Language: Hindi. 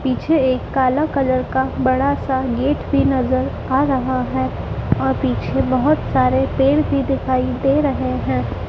पीछे एक काला कलर का बड़ा सा गेट भी नज़र आ रहा है और पीछे बहोत सारे पेड़ भी दिखाई दे रहे हैं।